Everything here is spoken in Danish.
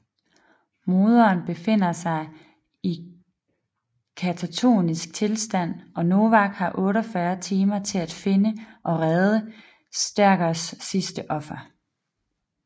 Morderen befinder sig i et katatoniskt tilstand og Novak har 48 timer til at finde og redde Starghers sidste offer